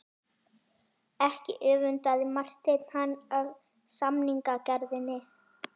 Ekki öfundaði Marteinn hann af samningagerðinni.